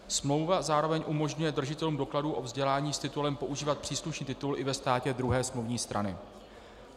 Smlouva zároveň umožňuje držitelům dokladů o vzdělání s titulem používat příslušný titul i ve státě druhé smluvní strany.